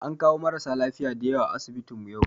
An kawo marasa lafiya da yawa a asibitinmu yau